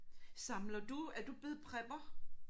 Samler du er du blevet prepper?